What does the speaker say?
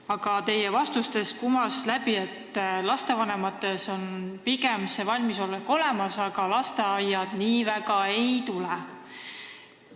Aga teie vastustest kumas läbi, et lastevanematel on valmisolek pigem olemas, aga lasteaiad nii väga kaasa ei tule.